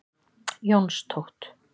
Jónstótt